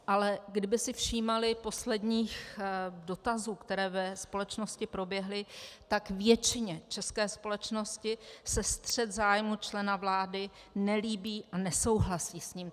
Ale kdyby si všímali posledních dotazů, které ve společnosti proběhly, tak většině české společnosti se střet zájmů člena vlády nelíbí a nesouhlasí s ním.